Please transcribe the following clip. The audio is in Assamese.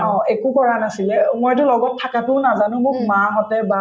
অ, একো কৰা নাছিলে মইতো লগত থাকাতোও নাজানো মোক মাহঁতে বা